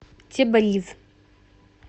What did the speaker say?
тебриз